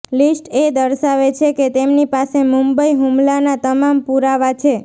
list એ દર્શાવે છે કે તેમની પાસે મુંબઈ હુમલાના તમામ પુરાવા છે